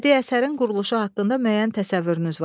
Bədii əsərin quruluşu haqqında müəyyən təsəvvürünüz var.